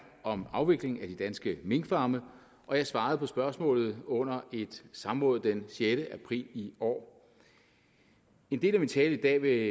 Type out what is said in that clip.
om afvikling af de danske minkfarme og jeg svarede på spørgsmålet under et samråd den sjette april i år en del af min tale i dag vil